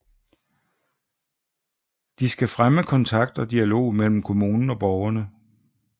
De skal fremme kontakt og dialog mellem kommunen og borgerne